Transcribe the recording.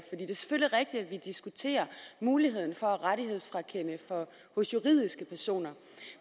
vi diskuterer muligheden for rettighedsfrakendelse hos juridiske personer